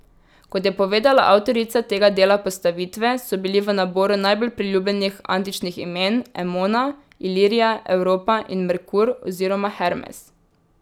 Kot je povedala avtorica tega dela postavitve, so bili v naboru najbolj priljubljenih antičnih imen Emona, Ilirija, Evropa in Merkur oziroma Hermes.